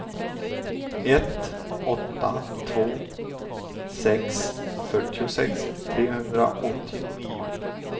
ett åtta två sex fyrtiosex trehundraåttionio